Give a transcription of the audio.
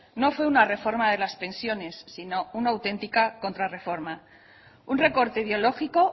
no fue una reforma de las pensiones sino una auténtica contrarreforma un recorte ideológico